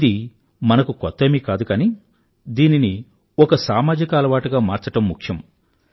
ఇది మనకు కొత్తేమీ కాదు కానీ దీనిని ఒక సామాజిక అలవాటుగా మార్చడం ముఖ్యం